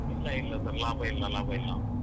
ಇಲ್ಲ ಇಲ್ಲ sir ಲಾಭಯಿಲ್ಲ ಲಾಭಯಿಲ್ಲ.